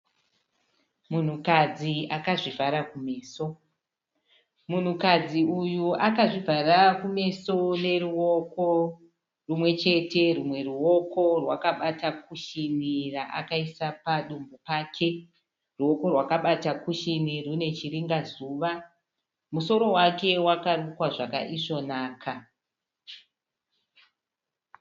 Munhukadzi akazvivhara kumeso. Munhukadzi uyu akazvivhara kumeso neruoko rimwechete rwumwe ruoko rwakabata kushini raakaisa padumbu pake. Ruoko rwakabata kushini runechiringazuva. Musoro wake wakarukwa zvakaisvonaka.